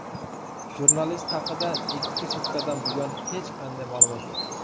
Jurnalist haqida ikki sutkadan buyon hech qanday ma’lumot yo‘q.